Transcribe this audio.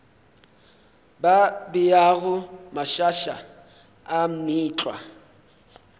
ba beago mašaša a meetlwa